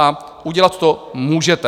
A udělat to můžete.